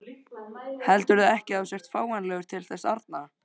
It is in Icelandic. Heldurðu ekki að þú sért fáanlegur til þess arna?